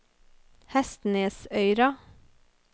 Hestnesøyra